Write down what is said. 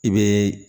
I bɛ